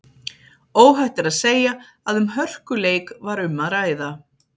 Óhætt er að segja að um hörkuleik var um að ræða.